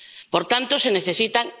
Por tanto, se necesitan...